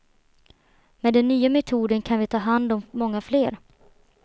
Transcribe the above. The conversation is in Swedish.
Med den nya metoden kan vi ta hand om många fler.